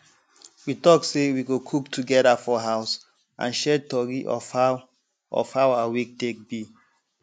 we talk say we go cook togeda for house and share tori of how of how our week take be